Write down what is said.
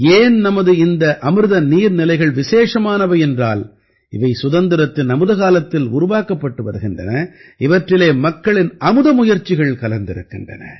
ஏன் நமது இந்த அமிர்த நீர்நிலைகள் விசேஷமானவை என்றால் இவை சுதந்திரத்தின் அமுதகாலத்தில் உருவாக்கப்பட்டு வருகின்றன இவற்றிலே மக்களின் அமுத முயற்சிகள் கலந்திருக்கின்றன